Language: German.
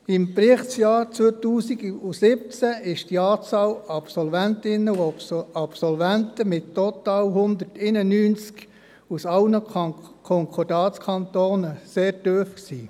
Im Berichtsjahr 2017 war die Anzahl Absolventinnen und Absolventen mit total 191 aus allen Konkordatskantonen sehr tief.